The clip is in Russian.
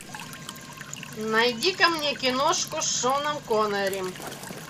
найди ка мне киношку с шоном коннери